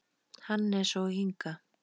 Hannes og Inga.